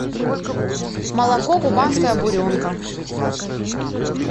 молоко кубанская буренка